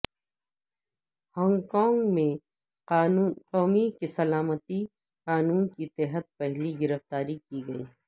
Hong Kong میں قومی سلامتی قانون کے تحت پہلی گرفتاریاں کی گئیں